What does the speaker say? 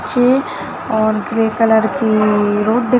नीचे और grey colour की रोड दिख --